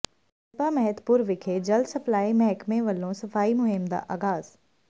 ਕਸਬਾ ਮਹਿਤਪੁਰ ਵਿਖੇ ਜਲ ਸਪਲਾਈ ਮਹਿਕਮੇਂ ਵਲੋਂ ਸਫ਼ਾਈ ਮੁਹਿੰਮ ਦਾ ਆਗ਼ਾਜ਼